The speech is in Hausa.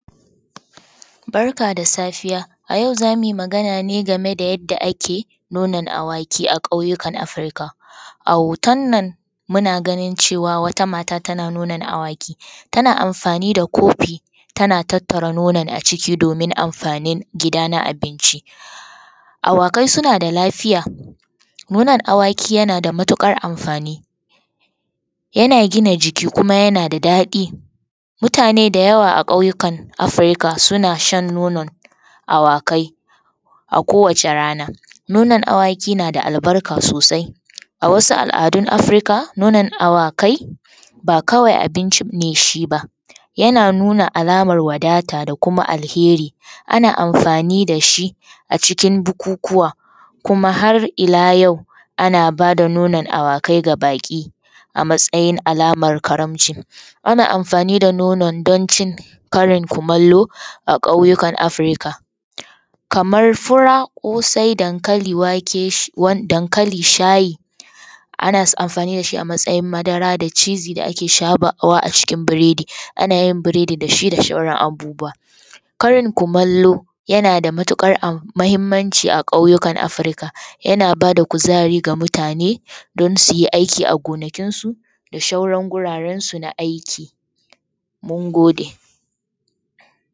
Barka da Safiya. A yau za mu yi magana ne game da yadda ake nonon awaki a ƙauyukan Africa. A hoton nan, muna ganin cewa wata mata tana nonon awaki, tana amfani da kofi, tana tattara nonon a ciki domin amfanin gida na abinci. Awakai suna da lafiya, mu nan awaki yana da matuƙar amfani. Yana gina jiki kuma yana da daɗi. Mutane da yawa a ƙauyukan Africa suna shan nonon awakai a kowace rana. Mu nan awaki nan da albarka sosai. A wasu al’adun Africa, nonon awakai, ba kawai abinci ne shi ba, yana nuna alamar wadata da kuma alheri. Ana amfani da shi a cikin bukukuwa kuma har ila yau, ana ba da nonon awakai ga baƙi a matsayin alamar karamci. Ana amfani da nonon don cin karin kumallo a ƙauyukan Africa. Kamar fura, ƙosai dankali, wake, dankali, shayi ana amfani da shi a matsayin madara da cheezy da ake shafawa a cikin biredi, ana yin biredi da shi da sauran abubuwa. Karin kumallo yana da matuƙar muhimmanci a ƙauyukan Africa, yana ba da kuzari ga mutane don su yi aiki a gonakinsu da sauran gurarensu na aiki. Mun gode.